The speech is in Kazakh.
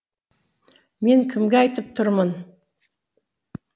мен кімге айтып тұрмын